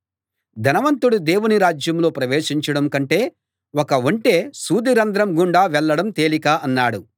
ధనవంతుడు దేవుని రాజ్యంలో ప్రవేశించడం కంటే ఒక ఒంటె సూది రంధ్రం గుండా వెళ్ళడం తేలిక అన్నాడు